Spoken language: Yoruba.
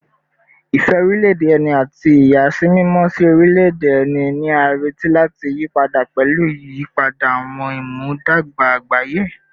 Ìfẹ́ orílẹ̀-èdè ẹni àti ìyàsímímọ́ sí orílẹ̀-èdè ẹni ni a retí láti yí padà pẹ̀lú ìyípadà àwọn ìmúdàgba àgbáyé